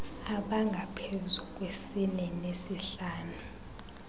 abangaphezu kwesine nesihlanu